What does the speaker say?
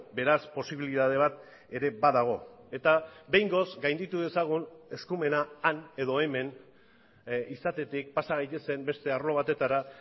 beraz posibilitate bat ere badago eta behingoz gainditu dezagun eskumena han edo hemen izatetik pasa gaitezen beste arlo batetara